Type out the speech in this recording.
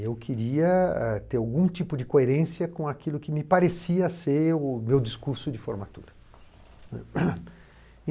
Eu queria ter algum tipo de coerência com aquilo que me parecia ser o meu discurso de formatura, né.